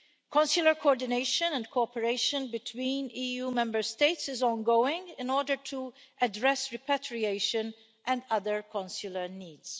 Consular coordination and cooperation between EU Member States is ongoing in order to address repatriation and other consular needs.